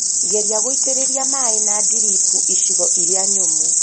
Geria guitĩrĩria maĩ ma drip icigo iria nyũmũ